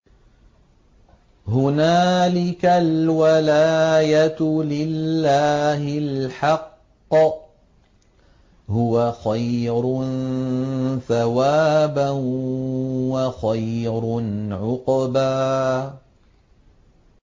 هُنَالِكَ الْوَلَايَةُ لِلَّهِ الْحَقِّ ۚ هُوَ خَيْرٌ ثَوَابًا وَخَيْرٌ عُقْبًا